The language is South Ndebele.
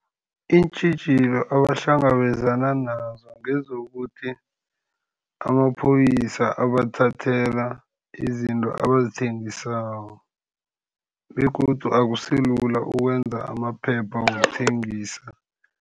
Iintjhijilo abahlangabezana nazo, ngezokuthi amaphoyisa abathathela izinto abazithengisako, begodu akusilula ukwenza amaphepha wokuthengisa.